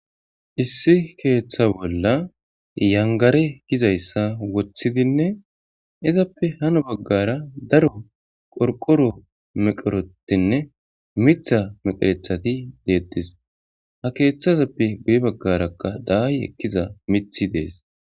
issi keeththa bolla yangare gizayssa woththidinne izappe hano baggara daro qorqoro meqorotinne mitha meqerethati deettis ha keeththazappe gu'i baggarakka daayi ekkiza miiththi dees.